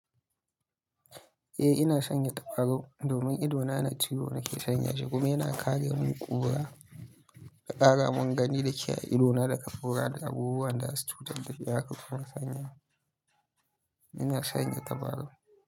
Eh ina sanya tabarau domin idona na ciwo nake sanya shi kuma yana kare mun kura da kara mun gani da ke a idona daga kura da abubuwan da za su cutar da ni haka ko kuma sanya. Ina sanya tabarau.